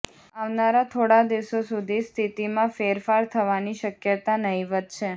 આવનારા થોડા દિવસો સુધી સ્થિતિમાં ફેરફાર થવાની શક્યતા નહિવત્ છે